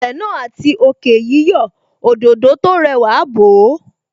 Ilẹ̀ náà àti òkè yíyọ̀, Òdòdó tó rẹwà bò ó